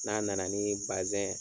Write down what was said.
N'a na na ni bazɛn